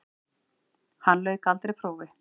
Hann lauk aldrei prófi.